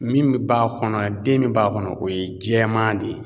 Min bɛ b'a kɔnɔ den min b'a kɔnɔ o ye jɛman de ye.